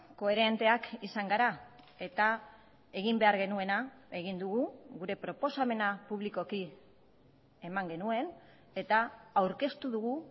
koherenteak izan gara eta egin behar genuena egin dugu gure proposamena publikoki eman genuen eta aurkeztu dugu